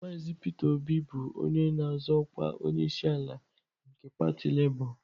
Mazị Peter Obi bụ onye na-azọ ọkwa onyeisiala nke pati Lebọ.